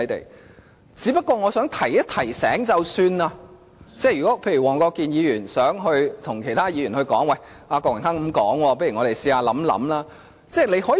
我只想提醒一下，如果黃國健議員想對其他議員說："郭榮鏗議員這樣說，我們不如嘗試考慮一下"。